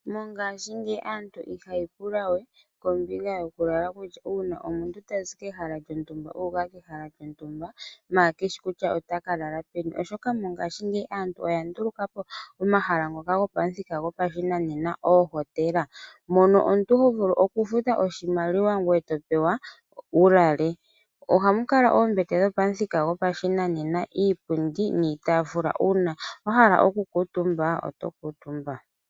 Mongashingeyi aantu ihaayi pula we kombinga yokulala uuna tazi kehala lyontumba uuka kehala lyontumba maala keshi kutya otaka lala peni oshoka mongashingeyi aantu oya ndulukapo omahala ngoka gopashinanena oohotela mono omuntu ho vulu okufuta oshimaliwa gweye topewa wu lale ohamu kala muna iipundi yopashinanena uuna wa hala okukuutumba oto kuutumba .